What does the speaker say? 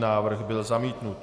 Návrh byl zamítnut.